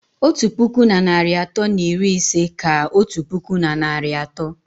Otu puku na narị atọ na iri ise ka otu puku na narị atọ